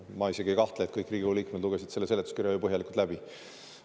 Ma isegi ei kahtle, et kõik Riigikogu liikmed lugesid selle seletuskirja ju põhjalikult läbi.